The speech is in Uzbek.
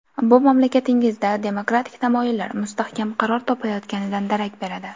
Bu mamlakatingizda demokratik tamoyillar mustahkam qaror topayotganidan darak beradi.